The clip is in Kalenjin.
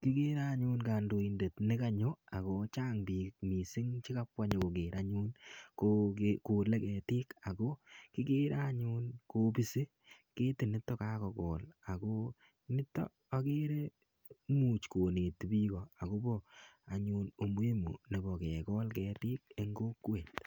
Kikere anyun kondoidet nekonyo ako chang bik missing imuche kabwa nyokoker anyun kogole ketik ako kikere anyun kopisi ketiti anyun kagokol ako nito okere much koneti bik akobo anyun imuhimu nebo kegol ketik en kokwet.